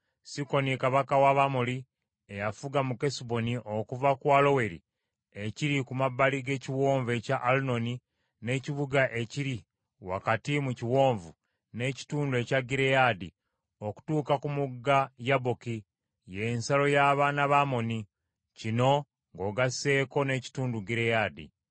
Sikoni kabaka w’Abamoli eyafuga mu Kesuboni, okuva ku Aloweri, ekiri ku mabbali g’ekiwonvu ekya Alunoni, n’ekibuga ekiri wakati mu kiwonvu, n’ekitundu ekya Gireyaadi, okutuuka ku mugga Yaboki, y’ensalo y’abaana ba Amoni; kino ng’ogasseeko n’ekitundu Gireyaadi,